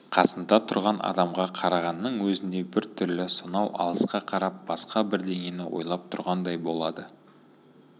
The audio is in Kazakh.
қасында тұрған адамға қарағанның өзінде бір түрлі сонау алысқа қарап басқа бірдеңені ойлап тұрғандай болады